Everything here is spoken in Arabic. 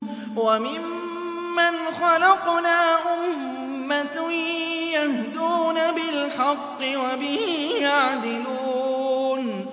وَمِمَّنْ خَلَقْنَا أُمَّةٌ يَهْدُونَ بِالْحَقِّ وَبِهِ يَعْدِلُونَ